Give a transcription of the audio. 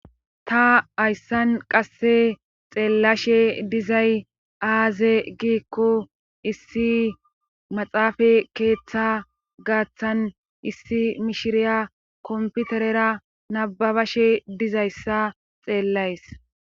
ta hayssan qasse xeellashe dizay aaze giikko issi maxaafa keeththa gaaththan issi mishiriya komputerera nababashe dizayssa xeellays